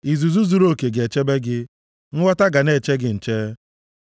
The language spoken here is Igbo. Izuzu zuruoke ga-echebe gị, nghọta ga na-eche gị nche.